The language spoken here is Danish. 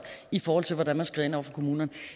i forhold til hvordan man skrider ind over for kommunerne